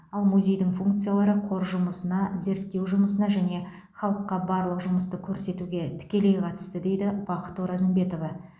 ал музейдің функциялары қор жұмысына зерттеу жұмысына және халыққа барлық жұмысты көрсетуге тікелей қатысты дейді бақыт оразымбетова